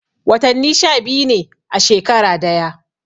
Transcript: Watani sha biyu ne a shekara daya